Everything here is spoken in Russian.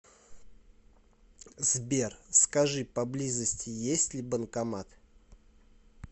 сбер скажи поблизости есть ли банкомат